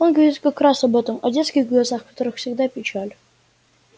он говорит как раз об этом о детских глазах в которых всегда печаль